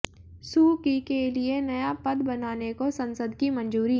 सू Kyi के लिये नया पद बनाने को संसद की मंजूरी